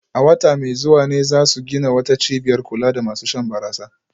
A wata mai zuwa ne za su gina wata cibiyar kula da masu shan barasa